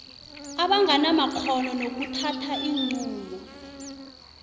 abanganamakghono nokuthatha iinqunto